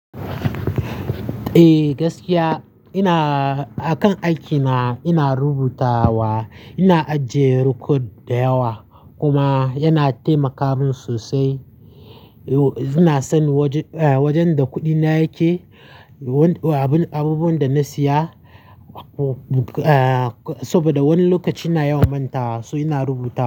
Eh gaskiya ina-akan aikina ina rubutawa, ina ajiyer kod dayawa kuma yana taimaka mun sosai. Ina san wajen da kuɗi na yake, abubuwan da na siya saboda wani lokaci na yawan manta wa so, ina rubuta.